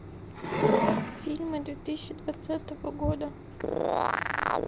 фильмы две тысячи двадцатого года